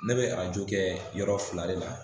Ne bɛ a ju kɛ yɔrɔ fila de la